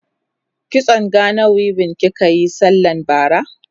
kitson Gana weaving kikayi sallan bara?